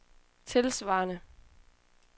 tilsvarende